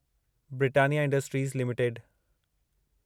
Britannia industries limited